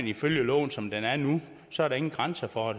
ifølge loven som det er nu så er der ingen grænser for